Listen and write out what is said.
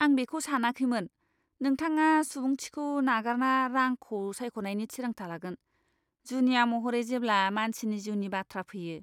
आं बेखौ सानाखैमोन नोंथाङा सुबुंथिखौ नागारना रांखौ सायख'नायनि थिरांथा लागोन, जुनिया महरै जेब्ला मानसिनि जिउनि बाथ्रा फैयो!